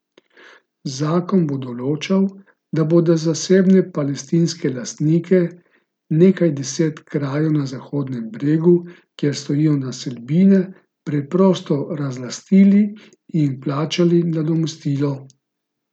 Zakon bo določal, da bodo zasebne palestinske lastnike nekaj deset krajev na Zahodnem bregu, kjer stojijo naselbine, preprosto razlastili in jim plačali nadomestilo.